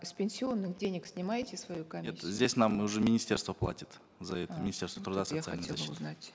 с пенсионных денег снимаете свою комиссию здесь нам уже министерство платит за это министерство труда и социальной защиты